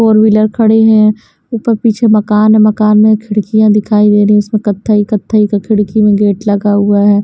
Four wheeler खड़े हैं ऊपर-पीछे मकान है मकान में खिड़कियाँ दिखाई दे रही है उसमें कत्थई-कत्थई का खिड़की में गेट लगा हुआ है।